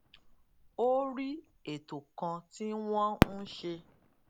ó rí ètò kan tí wón ń ṣe